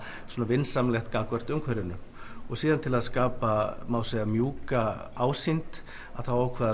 vinsamlegt gagnvart umhverfinu og síðan til að skapa mjúka ásýnd að þá ákvað